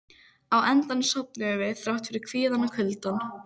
Á endanum sofnuðum við, þrátt fyrir kvíðann og kuldann.